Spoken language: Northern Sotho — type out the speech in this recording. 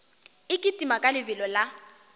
e kitima ka lebelo la